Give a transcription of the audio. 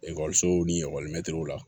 Ekɔlisow ni ekɔli mɛtiriw la